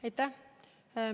Aitäh!